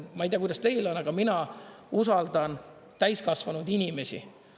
Ma ei tea, kuidas teil on, aga mina usaldan täiskasvanud inimesi.